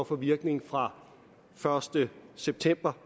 får virkning fra første september